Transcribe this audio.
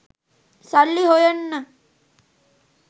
සල්ලි හොයන්න